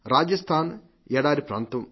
రాజస్థాన్ ఎడారి ప్రాంతం